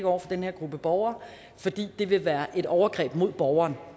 over for den her gruppe borgere fordi det vil være et overgreb mod borgeren